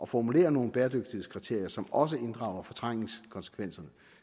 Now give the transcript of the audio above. formulere nogle bæredygtighedskriterier som også inddrager fortrængningskonsekvenserne